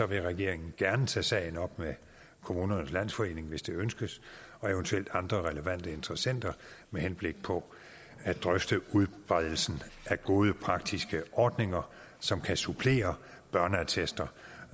vil regeringen gerne tage sagen op med kommunernes landsforening hvis det ønskes og eventuelt andre relevante interessenter med henblik på at drøfte udbredelsen af gode praktiske ordninger som kan supplere børneattester